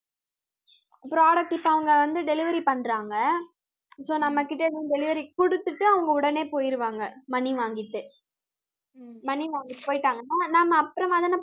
product இப்ப அவங்க வந்து delivery பண்றாங்க so நம்ம கிட்ட இருந்து delivery கொடுத்துட்டு, அவங்க உடனே போயிடுவாங்க money வாங்கிட்டு money வாங்கிட்டு போய்ட்டாங்கன்னா நாம அப்புறமா தானே